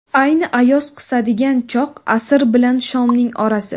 Ayni ayoz qisadigan choq – asr bilan shomning orasi.